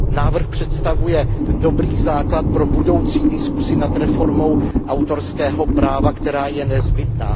Návrh představuje dobrý základ pro budoucí diskusi o reformě autorského práva, která je nezbytná.